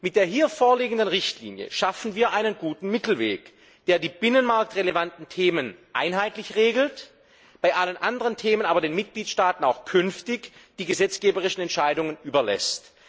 Mit der hier vorliegenden Richtlinie schaffen wir einen guten Mittelweg, der die binnenmarktrelevanten Themen einheitlich regelt, bei allen anderen Themen aber den Mitgliedstaaten auch künftig die gesetzgeberischen Entscheidungen überlässt.